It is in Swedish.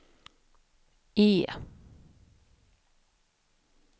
E